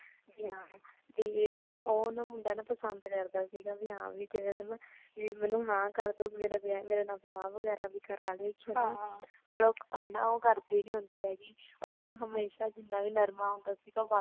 ਤੇ ਓ ਨਾ ਮੁੰਡਾ ਪਸੰਦ ਕਰਦਾ ਸੀਗਾ ਭੀ ਹਾਂ ਕਿ ਜਿਵੇ ਮੈਨੂੰ ਹਾਂ ਕਰ ਦਊਂਗੀ ਮੇਰੇ ਨਾਲ ਵਿਆਹ ਵਗੈਰਾ ਵੀ ਕਰਵਾ ਲੇਗੀ ਹਨਾ ਪਰ ਓ ਕਰਦੀ ਨੀ ਹੁੰਦੀ ਹੈਗੀ ਓਦਾ ਨਾ ਹਮੇਸ਼ਾ ਜਿਨ੍ਹਾਂ ਵੀ ਨਰਮਾ ਹੁੰਦਾ ਸੀਗਾ